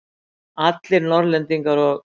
Allir Norðlendingar og